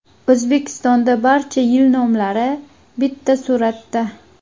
O‘zbekistonda barcha yil nomlari bitta suratda.